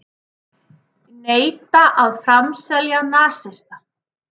Neita að framselja nasista